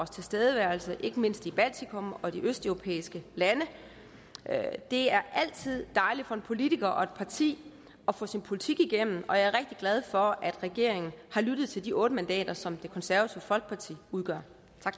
tilstedeværelse i ikke mindst baltikum og de østeuropæiske lande det er altid dejligt for en politiker og et parti at få sin politik igennem og jeg er rigtig glad for at regeringen har lyttet til de otte mandater som det konservative folkeparti udgør